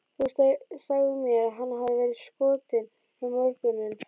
Þú sagðir mér að hann hefði verið skotinn um morguninn.